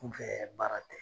K'u kɛɛ baara kɛ